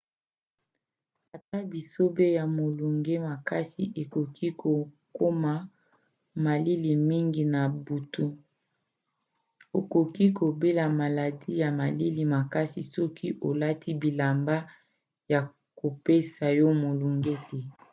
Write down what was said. ata bisobe ya molunge makasi ekoki kokoma malili mingi na butu. okoki kobela maladi ya malili makasi soki olati bilamba ya kopesa yo molunge te